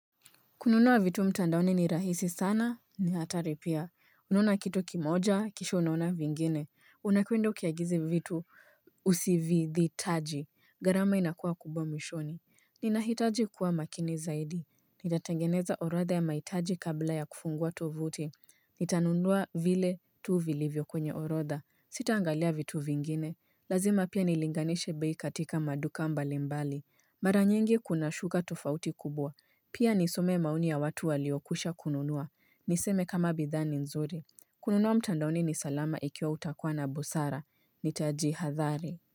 Kununua vitu mtandaoni ni rahisi sana, ni hatari pia. Ununa kitu kimoja, kisha unaona vingine. Unakwenda ukiagiza vitu usividhitaji. Gharama inakuwa kubwa mwishoni. Ninahitaji kuwa makini zaidi. Nitatangeneza orodha ya mahitaji kabla ya kufungua tovuti. Nitanunua vile tu vilivyo kwenye orodha. Sitaangalia vitu vingine. Lazima pia nilinganishe bei katika maduka mbali mbali. Maranyengi kuna shuka tofauti kubwa. Pia nisome mauni ya watu waliokusha kununua, niseme kama bidhani nzuri kununua mtandauni ni salama ikiwa utakuwa na abusara, ni taji hadhari.